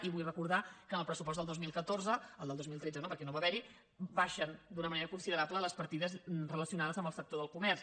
i vull recordar que en el pressupost del dos mil catorze el del dos mil tretze no perquè no va haver n’hi baixen d’una manera considerable les partides relacionades amb el sector del comerç